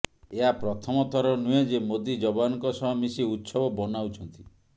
ଏହା ପ୍ରଥମ ଥର ନୁହେଁ ଯେ ମୋଦି ଯବାନଙ୍କ ସହ ମିସି ଉତ୍ସବ ବନାଉଛନ୍ତି